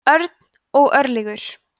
örn og örlygur